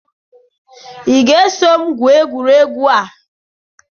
Will you follow to play this game?